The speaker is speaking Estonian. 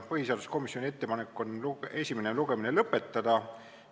Põhiseaduskomisjoni ettepanek on esimene lugemine lõpetada.